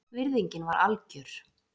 Virðingin var algjör